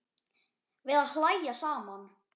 Við að hlæja saman.